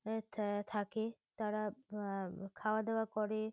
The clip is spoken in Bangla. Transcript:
এ থ থাকে। তারা উম খাওয়া-দাওয়া করে।